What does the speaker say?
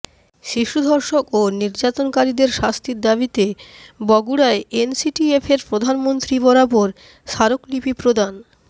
শিশু ধর্ষক ও নির্যাতনকারীদের শাস্তির দাবিতে বগুড়ায় এনসিটিএফ এর প্রধানমন্ত্রী বরাবর স্মারকলিপি প্রদান